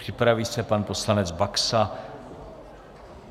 Připraví se pan poslanec Baxa.